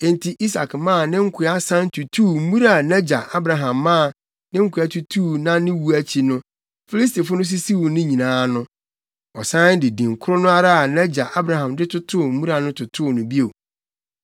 Enti Isak maa ne nkoa san tutuu mmura a nʼagya Abraham maa ne nkoa tutuu na ne wu akyi no Filistifo no sisiw ne nyinaa no. Ɔsan de din koro no ara a nʼagya Abraham de totoo mmura no totoo no bio.